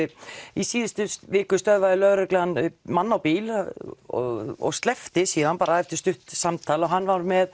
í síðustu viku stöðvaði lögreglan mann á bíl og og sleppti síðan eftir stutt samtal og hann var með